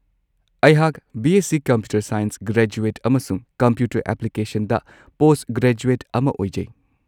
ꯑꯩꯍꯥꯛ BSc. Computer science graduate ꯑꯃꯁꯨꯡ computer ꯑꯦꯄ꯭ꯂꯤꯀꯦꯁꯟꯗ ꯄꯣꯁꯠꯒ꯭ꯔꯦꯖꯨꯑꯦꯠ ꯑꯃ ꯑꯣꯏꯖꯩ꯫